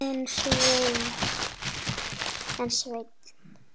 En Sveinn